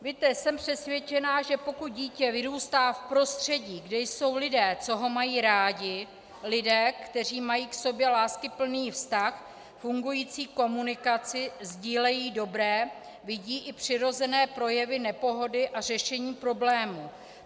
Víte, jsem přesvědčena, že pokud dítě vyrůstá v prostředí, kde jsou lidé, co ho mají rádi, lidé, kteří mají k sobě láskyplný vztah, fungující komunikaci, sdílejí dobré, vidí i přirozené projevy nepohody a řešení problémů.